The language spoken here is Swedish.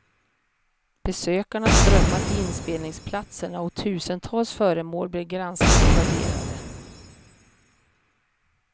Besökarna strömmade till inspelningsplatserna och tusentals föremål blev granskade och värderade.